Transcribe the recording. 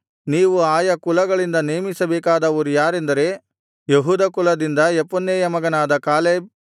ನೀವು ಆಯಾ ಕುಲಗಳಿಂದ ನೇಮಿಸಬೇಕಾದವರು ಯಾರೆಂದರೆ ಯೆಹೂದ ಕುಲದಿಂದ ಯೆಫುನ್ನೆಯ ಮಗನಾದ ಕಾಲೇಬ್